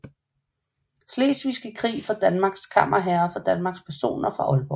Slesvigske Krig fra Danmark Kammerherrer fra Danmark Personer fra Aalborg